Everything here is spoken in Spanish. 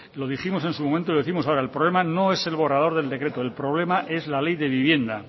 lo dijimos en su momento y lo décimos ahora el problema no es el borrador del decreto el problema es la ley de vivienda